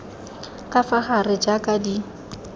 ka fa gare jaaka di